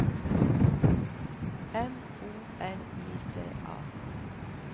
M O N I C A